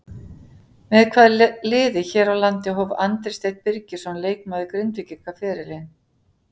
Með hvaða liði hér á landi hóf Andri Steinn Birgisson leikmaður Grindvíkinga ferilinn?